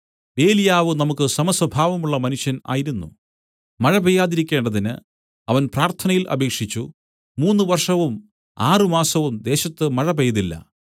ഏലിയാവ് നമുക്ക് സമസ്വഭാവമുള്ള മനുഷ്യൻ ആയിരുന്നു മഴ പെയ്യാതിരിക്കേണ്ടതിന് അവൻ പ്രാർത്ഥനയിൽ അപേക്ഷിച്ചു മൂന്ന് വർഷവും ആറ് മാസവും ദേശത്ത് മഴ പെയ്തില്ല